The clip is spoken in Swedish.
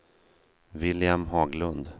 William Haglund